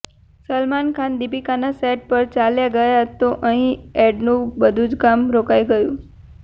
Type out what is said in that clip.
સલમાન ખાન દીપિકાના સેટ પર ચાલ્યા ગયા તો અહીં એડનું બધું જ કામ રોકાઈ ગયું